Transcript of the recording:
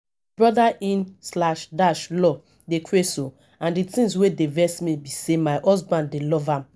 brother in slash dash law dey craze oo and the thing wey dey vex me be say my husband dey love am